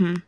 um